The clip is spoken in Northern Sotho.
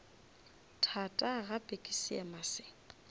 thata gape ke seema se